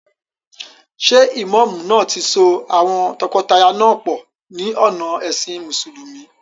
Ṣé ìmáàmù náà ti so àwọn tọkọtaya náà pọ̀ ní ọ̀nà ẹ̀sìn mùsùlùmí?